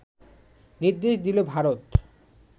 নির্দেশ দিল ভারত